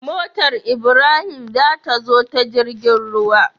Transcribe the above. Motar ibrahim tazo ta jirgin ruwa